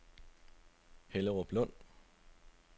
Helleruplund